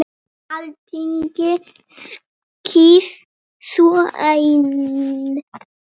Alþingi kýs svo einn.